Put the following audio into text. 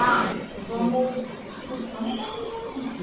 Ah, somos somos um monte de gente.